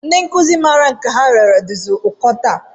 Ndị nkụzi maara nke ha riri dịzi ụkọ taa